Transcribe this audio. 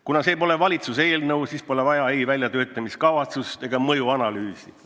Kuna see pole valitsuse eelnõu, siis pole vaja ei väljatöötamiskavatsust ega mõjuanalüüsi.